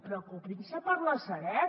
preocupin se per la sareb